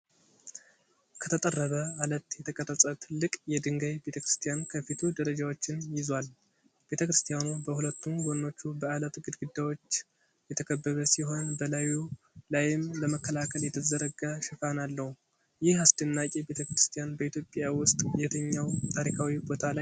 ከተጠረበ ዓለት የተቀረጸ ትልቅ የድንጋይ ቤተክርስቲያን ከፊቱ ደረጃዎችን ይዟል። ቤተክርስቲያኑ በሁለቱም ጎኖቹ በዐለት ግድግዳዎች የተከበበ ሲሆን በላዩ ላይም ለመከላከል የተዘረጋ ሽፋን አለው። ይህ አስደናቂ ቤተክርስቲያን በኢትዮጵያ ውስጥ የትኛው ታሪካዊ ቦታ ላይ ይገኛል?